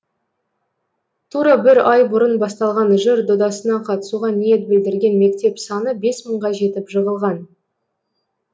тура бір ай бұрын басталған жыр додасына қатысуға ниет білдірген мектеп саны бес мыңға жетіп жығылған